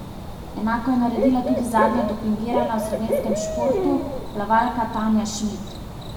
Enako je naredila tudi zadnja dopingirana v slovenskem športu, plavalka Tanja Šmid.